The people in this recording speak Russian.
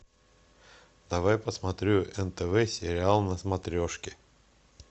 давай посмотрю нтв сериал на смотрешке